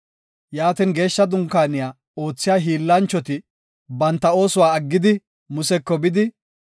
Yaatin, Geeshsha Dunkaaniya oothiya hiillanchoti banta oosuwa essidi, museko bidi,